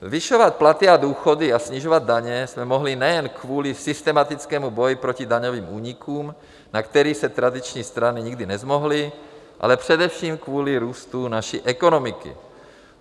Zvyšovat platy a důchody a snižovat daně jsme mohli nejen kvůli systematickému boji proti daňovým únikům, na které se tradiční strany nikdy nezmohly, ale především kvůli růstu naší ekonomiky.